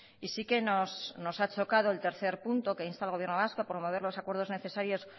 y sí que nos ha chocado el tercer puntol que insta al gobierno vasco a promover los acuerdos necesarios